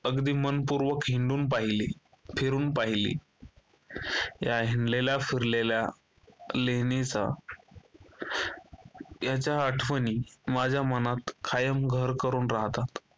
अगदी मनपूर्वक हिंडून पहिले फिरून पहिले. या हिंडलेल्या फिरलेल्या लेणीचा याच्या आठवणी माझ्या मनात कायम घर करून राहतात.